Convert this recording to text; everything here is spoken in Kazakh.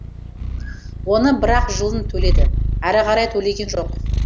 оны бір ақ жылын төледі әрі қарай төлеген жоқ